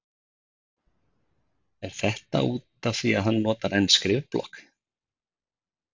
Er þetta útaf því að hann notar enn skrifblokk?